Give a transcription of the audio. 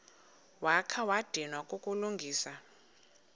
wakha wadinwa kukulungisa